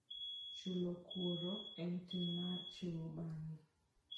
Chulo kuor en tim mar chiwo bang'e.